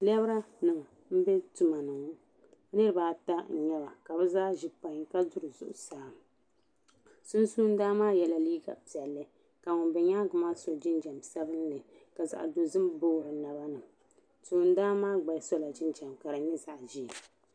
Lɛbra nim m bɛ tuma ni niriba ata nyɛba ka bi zaa zi painy ka duri zuɣusaa sunsuni lan maa yiɛ la liiga piɛlli ka ŋun bɛ yɛanga maa so jinjam sabinli ka zaɣi dozim booi di naba ni toon dan maa gba sola jinjam ka di nyɛ zaɣi ʒɛɛ.